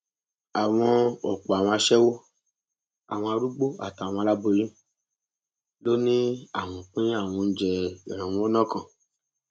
bó tilẹ jẹ pé gbogbo wọn kọ lowó kọ lowó ń bá àwọn tó bọ sọwọ ọlọpàá ló lè sọ